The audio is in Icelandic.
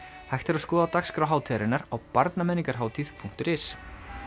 hægt er að skoða dagskrá hátíðarinnar á barnamenningarhatid punktur is